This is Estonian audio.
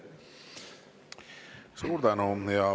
Suur tänu!